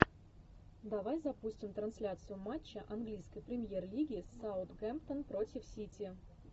давай запустим трансляцию матча английской премьер лиги саутгемптон против сити